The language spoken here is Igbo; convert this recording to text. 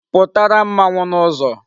Putara mmanwu n'uzo